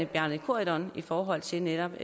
bjarne corydon i forhold til netop